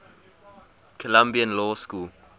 columbia law school